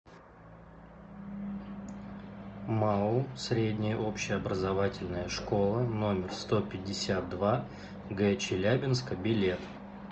маоу средняя общеобразовательная школа номер сто пятьдесят два г челябинска билет